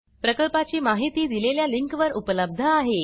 प्रकल्पाची माहिती दिलेल्या लिंकवर उपलब्ध आहे